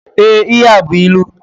Ee, ihe a bú ịlụ.